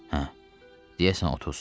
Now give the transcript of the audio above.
Hə, deyəsən 30.